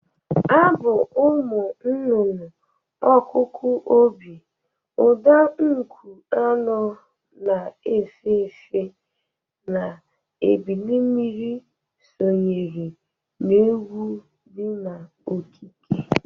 Abụ ụmụ nụnụnụ, ọkụkụ obi, ụda nkụ anụ na-efe efe na ebilimmiri sonyere n'egwụ dị n'okike.